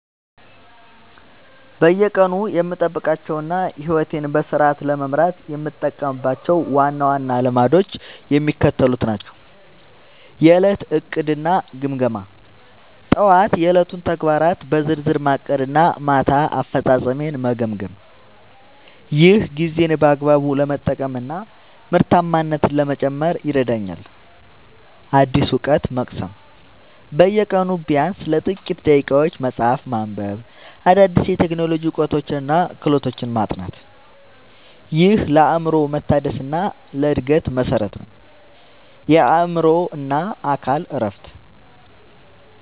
በየቀኑ የምጠብቃቸውና ሕይወቴን በስርዓት ለመምራት የምጠቀምባቸው ዋና ዋና ልማዶች የሚከተሉት ናቸው፦ የዕለት ዕቅድና ግምገማ፦ ጠዋት የዕለቱን ተግባራት በዝርዝር ማቀድና ማታ አፈጻጸሜን መገምገም። ይህ ጊዜን በአግባቡ ለመጠቀምና ምርታማነትን ለመጨመር ይረዳኛል። አዲስ እውቀት መቅሰም፦ በየቀኑ ቢያንስ ለጥቂት ደቂቃዎች መጽሐፍ ማንበብ፣ አዳዲስ የቴክኖሎጂ እውቀቶችንና ክህሎቶችን ማጥናት። ይህ ለአእምሮ መታደስና ለዕድገት መሠረት ነው። የአእምሮና አካል እረፍት፦